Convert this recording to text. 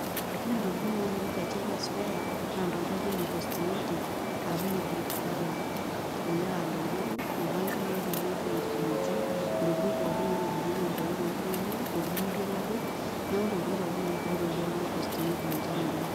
ore ntoktin naamiri te china square naa ntokitin naijo ine cosmetic ashu ine beauty parlor elelek aa ntokitin, irankin loopikieki ntokitin pookin naitobirieki enkomom ooltunganak. intokitin naijo ilpapit. neku ntokitin naa ketumi tolduka, le cosmetic ninche emiri.